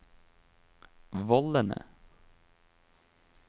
vollene